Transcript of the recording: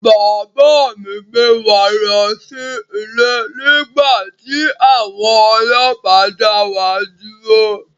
Bàbá mi ń gbé wa lọ sí ilé nígbà tí àwọn ọlọ́pàá dá wa dúró